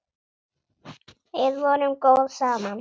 Við vorum góð saman.